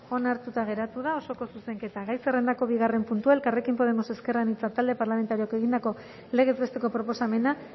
onartuta geratu da osoko zuzenketa gai zerrendako bigarren puntua elkarrekin podemos ezker anitza talde parlamentarioak egindako legez besteko proposamena